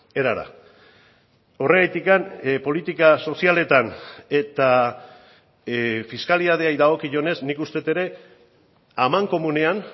erara horregatik politika sozialetan eta fiskalitateari dagokionez nik uste dut ere amankomunean